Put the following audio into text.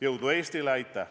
Jõudu Eestile!